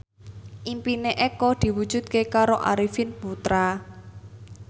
impine Eko diwujudke karo Arifin Putra